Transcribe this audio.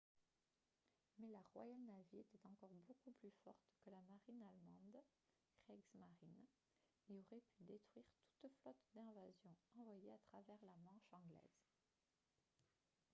mais la royal navy était encore beaucoup plus forte que la marine allemande « kriegsmarine » et aurait pu détruire toute flotte d'invasion envoyée à travers la manche anglaise